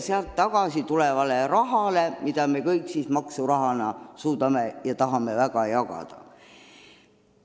Sealt ju tuleb tagasi raha, mida me kõik maksurahana tahame väga jagada.